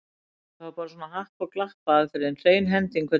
Það var bara svona happa- og glappaaðferð, hrein hending hvernig fór.